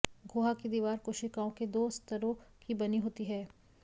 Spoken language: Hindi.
गुहा की दीवार कोशिकाओं के दो स्तरों की बनी होती है